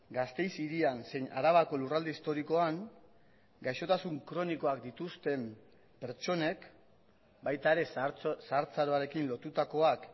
gasteiz hirian zein arabako lurralde historikoan gaixotasun kronikoak dituzten pertsonek baita ere zahartzaroarekin lotutakoak